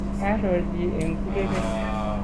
karo chi eng' kurere